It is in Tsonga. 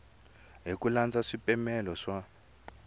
hi ku landza swipimelo leswi